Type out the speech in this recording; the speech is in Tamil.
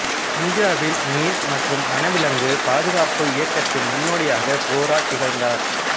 இந்தியாவில் மீன் மற்றும் வனவிலங்கு பாதுகாப்பு இயக்கத்தின் முன்னோடியாகக் கோரா திகழ்ந்தார்